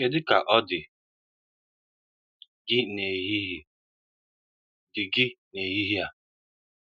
Kedụ ka ọ dị gị n’ehihie dị gị n’ehihie a?